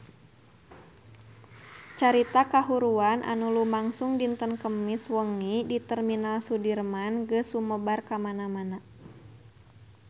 Carita kahuruan anu lumangsung dinten Kemis wengi di Terminal Sudirman geus sumebar kamana-mana